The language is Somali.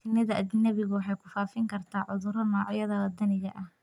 Shinnida ajnebigu waxay ku faafin kartaa cudurro noocyada waddaniga ah.